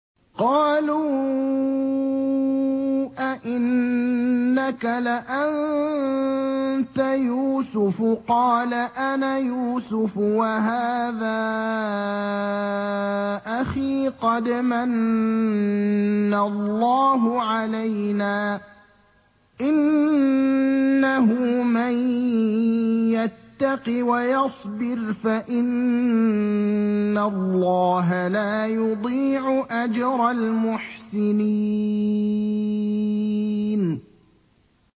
قَالُوا أَإِنَّكَ لَأَنتَ يُوسُفُ ۖ قَالَ أَنَا يُوسُفُ وَهَٰذَا أَخِي ۖ قَدْ مَنَّ اللَّهُ عَلَيْنَا ۖ إِنَّهُ مَن يَتَّقِ وَيَصْبِرْ فَإِنَّ اللَّهَ لَا يُضِيعُ أَجْرَ الْمُحْسِنِينَ